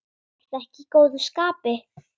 Ertu ekki í góðu skapi?